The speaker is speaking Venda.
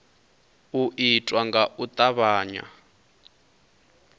u itwa nga u tavhanya